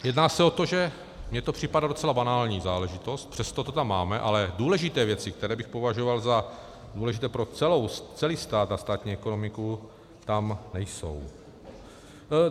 Jedná se o to, že mi to připadá docela banální záležitost, přesto to tam máme, ale důležité věci, které bych považoval za důležité pro celý stát a státní ekonomiku, tam nejsou.